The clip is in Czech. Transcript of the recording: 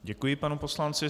Děkuji panu poslanci.